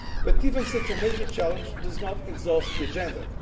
But even such a major challenge does not exhaust the agenda.